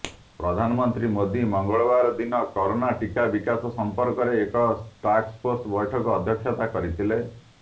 ପ୍ରଧାନମନ୍ତ୍ରୀ ମୋଦି ମଙ୍ଗଳବାର ଦିନ କରୋନା ଟୀକା ବିକାଶ ସମ୍ପର୍କରେ ଏକ ଟାସ୍କଫୋର୍ସ ବୈଠକରେ ଅଧ୍ୟକ୍ଷତା କରିଥିଲେ